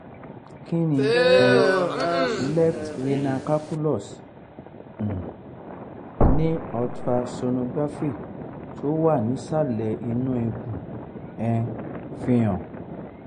kí ni um left renal calculus um ni ultra sonography tó wà nísàlẹ̀ inú ikun um fi hàn?